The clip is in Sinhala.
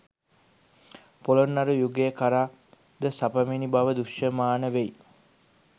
පොළොන්නරු යුගය කරා ද සපැමිණි බව දෘෂ්‍යමාන වෙයි.